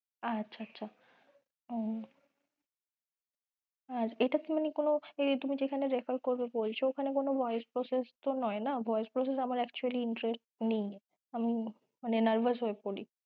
আচ্ছা আচ্ছা ও আর এটাতে মানে কোনো তুমি যেখানে refer করবে বলছো ওখানে কোনো voice process তো নয় না, voice process আমার actually interest নেই, আমি মানে nervous হয়ে পড়ি